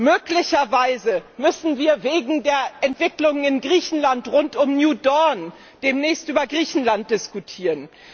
Möglicherweise müssen wir wegen der Entwicklung in Griechenland rund um demnächst über Griechenland diskutieren.